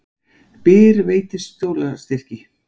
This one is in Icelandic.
Byr veitir skólastyrki